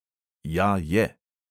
"Ja, je."